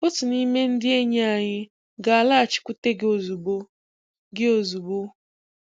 Otu n'ime ndị enyi anyị ga-alaghachikwute gị ozugbo. gị ozugbo.